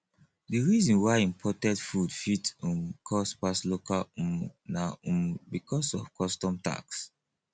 di reason why imported food fit um cost pass local um na um because of custom tax